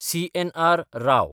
CNR. Rao